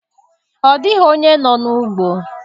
Ọ dịghị onye nọ n'ugbo.